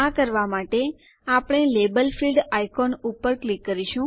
આ કરવાં માટે આપણે લાબેલ ફિલ્ડ આઈકોન ઉપર ક્લિક કરીશું